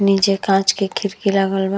नीचे कांच के खिड़की लागल बा।